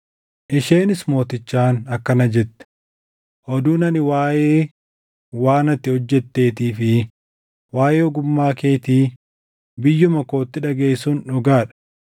Isheenis mootichaan akkana jette; “Oduun ani waaʼee waan ati hojjetteetii fi waaʼee ogummaa keetii biyyuma kootti dhagaʼe sun dhugaa dha.